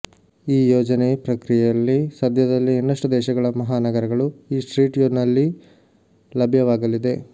ಈ ಯೋಜನೆ ಪ್ರಕ್ರಿಯೆಯಲ್ಲಿ ಸದ್ಯದಲ್ಲೇ ಇನ್ನಷ್ಟು ದೇಶಗಳ ಮಹಾನಗರಗಳು ಈ ಸ್ಟ್ರೀಟ್ವ್ಯೂನಲ್ಲಿ ಲಭ್ಯವಾಗಲಿದೆ